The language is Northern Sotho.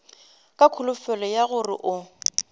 ka kholofelo ya gore o